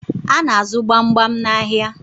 A na-azụ gbamgbam n'ahịa